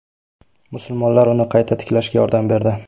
Musulmonlar uni qayta tiklashga yordam berdi.